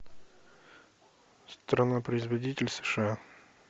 страна производитель сша